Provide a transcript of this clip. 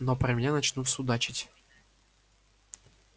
но про меня начнут судачить